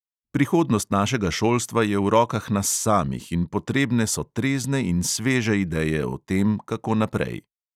Prihodnost našega šolstva je v rokah nas samih in potrebne so trezne in sveže ideje o tem, kako naprej.